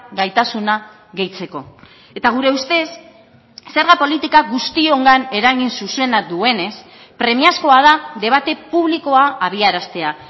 gaitasuna gehitzeko eta gure ustez zerga politika guztiongan eragin zuzena duenez premiazkoa da debate publikoa abiaraztea